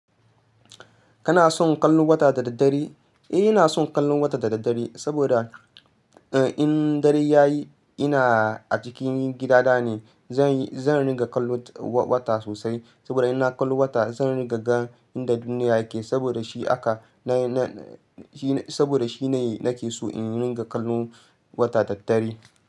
Kana son kallon wata da daddare? Eh ina son kallon wata da daddare saboda in dare ya yi ina a cikin gidana ne. Zanyi, zan ringa kallo wa-wata sosai saboda in na kallo wata zan ringa gan inda duniya yake saboda shi aka, na, na, shi, saboda shi ne nake so in ringa kallon wata daddare.